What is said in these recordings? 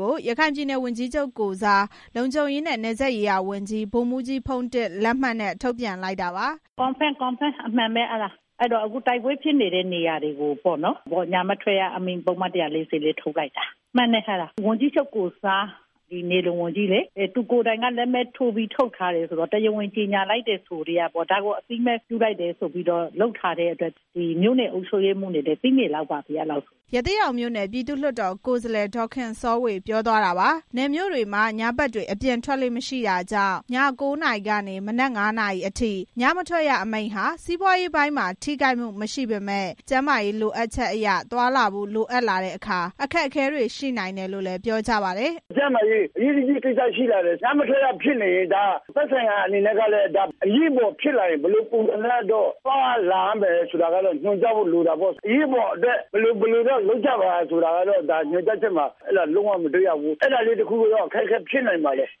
ကို ရခိုင်ပြည်နယ်ဝန်ကြီးချုပ် ကိုယ်စား လုံခြုံရေးနဲ့ နယ်စပ်ရေးရာဝန်ကြီး ဗိုလ်မှူးကြီးဖုန်းတင့် လက်မှတ်နဲ့ ထုတ်ပြန်လိုက်တာပါ။ “Confirm အမှန်ပဲ အဲတော့ အခုတိုက်ပွဲဖြစ်နေတဲ့နေရာတွေကိုပေ့ါနော်။ ညမထွက်ရအမိန့် ပုဒ်မ ၁၄၄ ထုတ် လိုက်တာ။ ဝန်ကြီးချုပ်ကိုယ်စား နယ်လုံဝန်ကြီးလေ သူကိုယ်တိုင်က လက်မှတ်ထိုးပြီး ထုတ်ထားတယ် ဆိုတော့လေ၊ ဒါကိုတရားဝင်အသိမှတ်ပြုပြီး လုပ်ထားတယ်ဆိုထဲက မြို့နယ်အုပ်ချုပ်ရေးမှူးတွေလည်း သိနေလောက်ပါပြီ။” ရသေ့တောင်မြို့နယ် ပြည်သူ့လွှတ်တော် ကိုယ်စားလှယ် ဒေါ်ခင်စောဝေ ပြောသွားတာပါ။ နယ်မြို့တွေမှာ ညဘက်တွေ အပြင်ထွက်လေ့မရှိတာကြောင့် ည ၉ နာရီကနေ မနက် ၅ နာရီအထိ ညမထွက်ရ အမိန့်ဟာ စီးပွားရေးပိုင်းမှာ ထိခိုက်နိုင်မှုမရှိပေမယ့် ကျန်းမာရေးလိုအပ်ချက်အရ သွားလာဖို့လိုအပ်လာတဲ့အခါ အခက်အခဲတွေရှိနိုင်တယ်လို့လည်း ပြောကြပါတယ်။ “ကျန်းမာရေး အရေးတကြီးကိစ္စဖြစ်နေတယ်။ ညမထွက်ရအမိန့်ဖြစ်နေရင် အရေးပေါ်ဖြစ်လာရင် သက်ဆိုင်ရာ အနေနဲ့က ဘယ်လိုပုံစံနဲ့တော့ သွားရလာရမယ်ဆိုတာကတော့ ညွန်ကြားဖို့လိုတာပေါ့။ အရေးပေါ်အတွက် ဘယ်လို ဘယ်လိုတော့ လုပ်ကြပါဆိုတာတော့ ညွန်ကြားချက်မှာ လုံးဝမတွေ့ရဘူး။ အဲဒါလေးတစ်ခုတော့ အခက်အခဲဖြစ်နိုင်ပါတယ်။”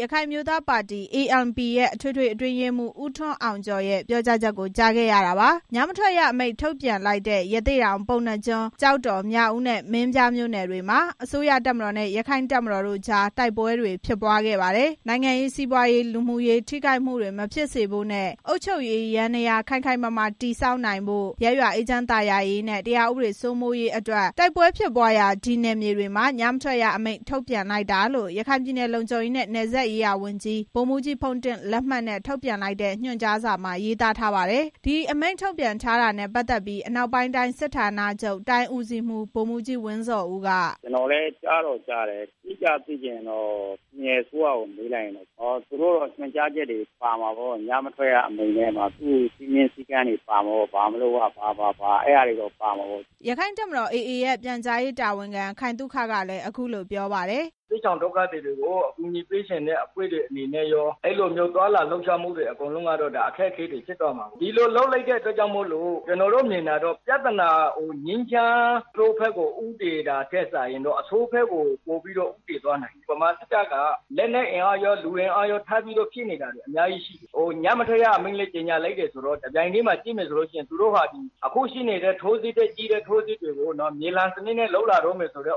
ရခိုင်အမျိုးသားပါတီ ANP ရဲ့ အထွေထွေအတွင်းရေးမှူး ဦးထွန်းအောင်ကျော်ရဲ့ ပြောကြားချက်ကို ကြားခဲ့ရတာပါ။ ညမထွက်ရအမိန့်ထုတ်ပြန်လိုက်တဲ့ ရသေ့တောင်၊ ပုဏ္ဏားကျွန်း၊ ကျောက်တော်၊ မြောက်ဦးနဲ့ မင်းပြားမြို့နယ်တွေမှာ အစိုးရတပ်မတော်နဲ့ ရခိုင့်တပ်မတော် AA တို့ကြား တိုက်ပွဲတွေ ဖြစ်ပွားခဲ့တာပါ။ နိုင်ငံရေး၊ စီးပွားရေး၊ လူမှုရေး ထိခိုက်မှုတွေမဖြစ်စေဖို့နဲ့ အုပ်ချုပ်ရေးယန္တရား ခိုင်ခိုင်မာမာ တည်ဆောက်နိုင်ဖို့၊ ရပ်ရွာအေးချမ်းသာယာရေးနဲ့ တရားဥပဒေစိုးမိုးရေးအတွက် တိုက်ပွဲဖြစ်ပွားရာ ဒီနယ်မြေတွေမှာ ညမထွက်ရအမိန့် ထုတ်ပြန်လိုက်တာလို့ ရခိုင်ပြည်နယ် လုံခြုံရေးနဲ့ နယ်စပ်ရေးရာဝန်ကြီး ဗိုလ်မှူးကြီးဖုန်းတင့် လက်မှတ်နဲ့ ထုတ်ပြန်လိုက်တဲ့ ညွှန်ကြားချက်မှာ ရေးသားထားပါတယ်။ ဒီအမိန့်ထုတ်ပြန်ထားတာနဲ့ ပတ်သက်ပြီး အနောက်ပိုင်းတိုင်းစစ်ဌာနချုပ် တိုင်းဦးစီးမှူး ဗိုလ်မှူးကြီး ဝင်းဇော်ဦး က… “ကျနော်လည်း ကြားတော့ ကြားတယ် အတိအကျ သိချင်ရင်တော့ ပြည်နယ်အစိုးရကို မေးရမယ်။ သူတို့ညွန်ကြားချက်တွေပါမှာပေါ့ ညမထွက်ရအမိန့်ထဲမှာ စည်းကမ်းသတ်မှတ်ချက်တွေပါမှာပေ့ါ။” ဒီအမိန့်ထုတ်ပြန်လိုက်တာနဲ့ ပတ်သက်လို့ ရက္ခိုင့်တပ်မတော် AA ရဲ့ ပြန်ကြားရေးတာဝန်ခံ ခိုင်သုခကတော့ အခုလိုပြောပါတယ်။ “ဒုက္ခသည်တွေကို အကူအညီပေးချင်တဲ့ အဖွဲ့တွေကော သွားလာလှုပ်ရှားမှုတွေအကုန်လုံးက အခက်အခဲတွေ ဖြစ်သွားမှာပေါ့။ဒီလိုလုပ်လိုက်တဲ့အတွက် ကျနော်တို့ မြင်တာတော့ ပြဿနာက ငြိမ်းချမ်းတဲ့ဘက်ကို ဦးတည် တာထက် အဆိုးဘက်ကို ပိုပြီးဦးတည်သွားနိုင်တယ်။ ဗမာစစ်တပ်က လက်နက်ကော လူအင်အားကော ထပ်ပြီး ဖြည့်နေတာတွေ အများကြီးရှိတယ်။ ညမထွက်ရအမိန့်ကို ကြေညာလိုက်တဲ့အတွက် အခုထပ်ကြီးတဲ့ ထိုးစစ်တွေ ကို မြေလှန်စနစ်နဲ့ လုပ်တော့မယ်ဆိုတာ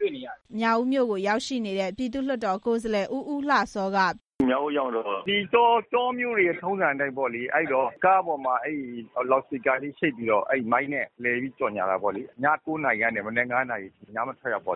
တွေ့နေရတယ်။” မြောက်ဦးမြို့ကို ရောက်ရှိနေတဲ့ ပြည်သူ့လွှတ်တော်ကိုယ်စားလှယ် ဦးဦးလှစော က “မြောက်ဦးကိုရောက်တော့ တောမြို့တွေရဲ့ ထုံးစံအတိုင်းပေါ့ ကားပေါ်မှာ လော်စပီကာတွေနဲ့ ချိတ်ပြီးတော့ မိုက်တွေနဲ့ လိုက်ကြေညာတာပေါ့နော်။ ည ၉ နာရီကနေ မနက် ၅ နာရီအထိ ညမထွက်ရ ထု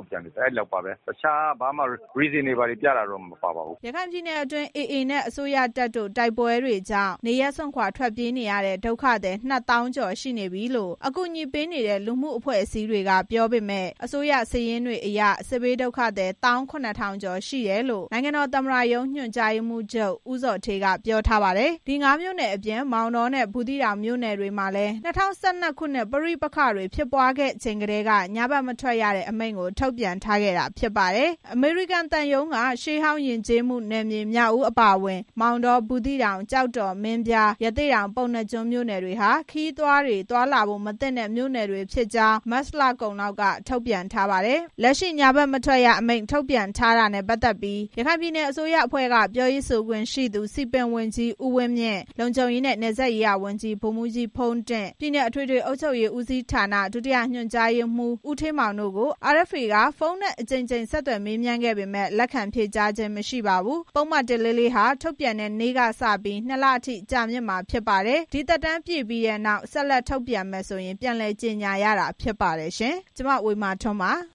တ်ပြန်တယ်ပေါ့။ တခြားဘာမှ reason တွေ ဘာတွေတော့ မပြောပါဘူး။” ရခိုင်ပြည်နယ်အတွင်း AA နဲ့ အစိုးရတပ်တို့ တိုက်ပွဲတွေကြောင့် နေရပ်စွန့်ခွာထွက်ပြေးနေရတဲ့ ဒုက္ခသည် ၂သောင်းကျော်နေပြီလို့ အကူအညီပေးနေတဲ့ လူမှုအဖွဲ့အစည်းတွေက ပြောကြပေမယ့် အစိုးရစာရင်းတွေအရ စစ်ဘေးဒုက္ခသည် ၁၇၀၀၀ ကျော် ရှိတယ်လို့ နိုင်ငံတော်သမ္မတရုံး ညွှန်ကြားရေးမှူးချုပ် ဦးဇော်ဌေးက ပြောထားပါတယ်။ ဒီ ၅ မြို့နယ်အပြင် မောင်တောနဲ့ ဘူးသီးတောင် မြို့နယ်တွေမှာလည်း ၂၀၁၂ ခုနှစ် ပဋိပက္ခတွေ ဖြစ်ပွားခဲ့တဲ့အချိန်ကတည်းက ညမထွက်ရအမိန့်ကို ထုတ်ပြန်ထားတာဖြစ်ပါတယ်။ အမေရိကန်သံရုံးက ရှေးဟောင်းယဉ်ကျေးမှုနယ်မြေ မြောက်ဦးအပါအဝင် မောင်တော၊ ဘူးသီးတောင်၊ ကျောက်တော်၊ မင်းပြား၊ ရသေ့တောင်၊ ပုဏ္ဏားကျွန်းမြို့နယ်တွေဟာ ခရီးသွားလာဖို့ မသင့်တဲ့မြို့နယ်တွေဖြစ်ကြောင်း မတ်လကုန်လောက်က ထုတ်ပြန်ထားပါတယ်။ လက်ရှိ ညမထွက်ရအမိန့် ထုတ်ပြန်ထားတာနဲ့ ပတ်သက်ပြီး ရခိုင်ပြည်နယ်အစိုးရအဖွဲ့က ပြောရေးဆိုခွင့်ရှိသူ စည်ပင်ဝန်ကြီး ဦးဝင်းမြင့်၊ လုံခြုံရေးနဲ့ နယ်စပ်ရေးရာဝန်ကြီး ဗိုလ်မှူးကြီးဖုန်းတင့်၊ ပြည်နယ် အထွေထွေ အုပ်ချုပ်ရေးဦးစီးဌာန ဒုတိယညွန်ကြားရေးမှူး ဦးဌေးမောင်တို့ကို RFA က ဖုန်းနဲ့ အကြိမ်ကြိမ် ဆက်သွယ်မေးမြန်း ခဲ့ပေမယ့် လက်ခံဖြေကြားခြင်းမရှိပါဘူး။ ပုဒ်မ ၁၄၄ ဟာ ထုတ်ပြန်တဲ့နေ့ကစပြီး ၂ လအထိ ကြာမြင့်မှာဖြစ်ပါတယ်။ ဒီသက်တမ်းပြည့်ပြီးနောက် ဆက်လက် ထတ်ပြန်မယ်ဆိုရင် ပြန်လည်ကြေညာရတာဖြစ်ပါတယ်။ ဒီသတင်းကို RFA သတင်းထောက် ဝေမာထွန်း ပ